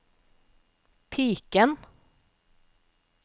piken